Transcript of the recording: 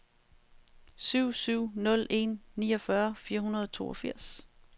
syv syv nul en niogfyrre fire hundrede og toogfirs